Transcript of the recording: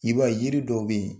I b'a ye yiri dɔw bɛ yen,